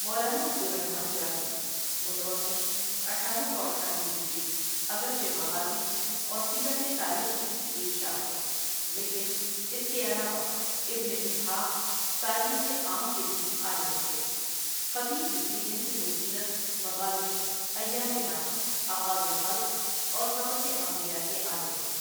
مولانا عبد الرحمٰن جامی متوفی اٹھارہ سو اٹھانوے ہجری اگرچہ مغازی اورسیرت تاریخ ہی کی ایک شاخ ہے، لیکن اس کے علاوہ ابن اسحٰق تاریخ عام کے بھی عالم تھے، خطیب لکھتے ہیں کہ وہ سیرت، مغازی، ایام ناس، آغاز خلق اورقصص انبیاء کے عالم تھے۔